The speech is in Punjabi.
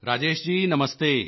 ਰਾਜੇਸ਼ ਜੀ ਨਮਸਤੇ